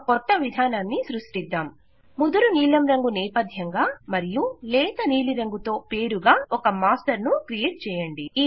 ఒక కొత్త విధానాన్ని సృష్టిద్దాం ముదురు నీలం రంగు నేపథ్యంగా మరియు లేత నీలిరంగుతో పేరుగా ఒక మాస్టర్ ను క్రియేట్ చేయండి